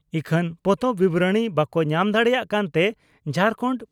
ᱤᱠᱷᱟᱹᱱ ᱯᱚᱛᱚᱵ ᱵᱤᱵᱚᱨᱚᱬᱤ ᱵᱟᱠᱚ ᱧᱟᱢ ᱫᱟᱲᱮᱭᱟᱜ ᱠᱟᱱᱛᱮ ᱡᱷᱟᱨᱠᱟᱱᱰ